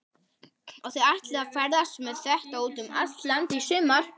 Og þið ætlið að ferðast með þetta út um allt land í sumar?